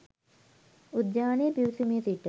උද්‍යානයේ පිවිසුමේ සිට